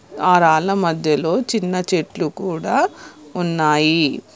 ఆ రాళ్ళ మధ్యలో చిన్న చెట్లు కూడ ఉన్నాయి.